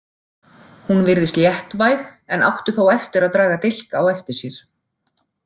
Hún virðist léttvæg en átti þó eftir að draga dilk á eftir sér.